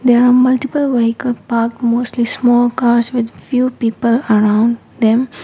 there are multiple vehicle parked mostly with small cars with people around them.